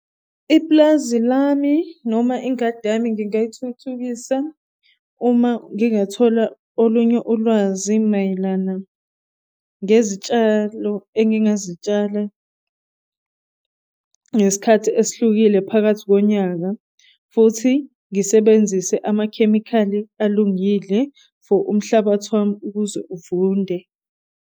iplazi lami noma ingadi yami ngingay'thuthukisa uma ngingathola olunye ulwazi mayelana ngezitshalo engingazitshala ngesikhathi esihlukile phakathi konyaka futhi ngisebenzise amakhemikhali alungile for umhlabathi wami ukuze uvunde.